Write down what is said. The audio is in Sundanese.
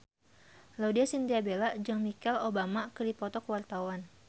Laudya Chintya Bella jeung Michelle Obama keur dipoto ku wartawan